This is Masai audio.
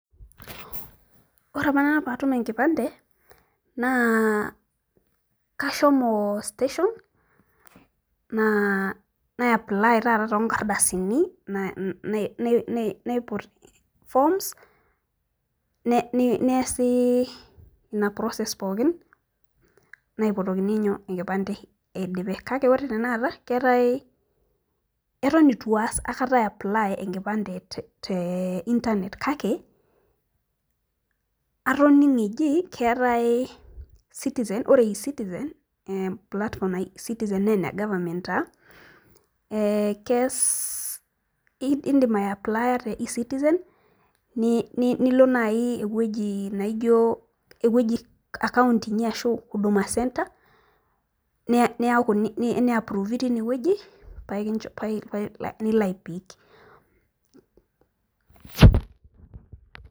ore apa nanu pee atum enkipande, naa kashomo station nai nai naiput forms neesi process naipotokini inkipande eidipe. kake ore tenekata, keetae, eton eitu aas aikata iji, ae apply enkipande te internet kake, atoning'o eji keetae ,ore e-citizen platform naji e citizen naa ene government taa ee kees. idim ae apply te e citizen nilo naaji ewueji naijo, ewueji account inyi ashu huduma centre nia approve teine wueji paa ilo ai pick.